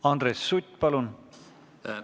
Andres Sutt, palun!